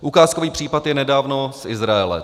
Ukázkový případ je nedávno z Izraele.